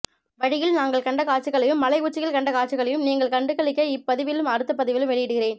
வழியில் நாங்கள் கண்ட காட்சிகளையும் மலை உச்சியில் கண்ட காட்சிகளையும் நீங்களும் கண்டு களிக்க இப்பதிவிலும் அடுத்த பதிவிலும் வெளியிடுகிறேன்